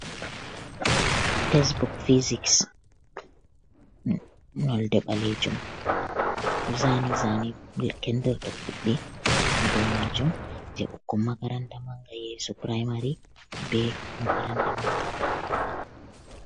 Tesebok fisiks nolde ɓalejum nda zane kendir ɗo kuɓi ha do majum, je ɓukkon makaranta manga yesu puramari be makaranta manga.